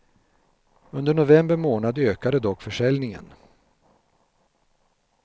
Under november månad ökade dock försäljningen.